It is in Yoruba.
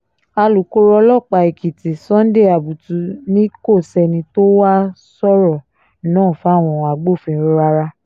alūkkóró ọlọ́pàá èkìtì sunday abutu ni kò sẹ́ni tó wàá sọ̀rọ̀ náà fáwọn agbófinró rárá